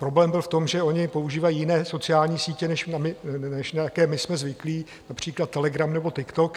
Problém byl v tom, že oni používají jiné sociální sítě, než na jaké my jsme zvyklí, například Telegram nebo TikTok.